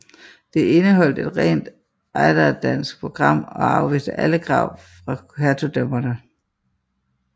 Det indeholdte et rent ejderdansk program og afviste alle krav fra hertugdømmerne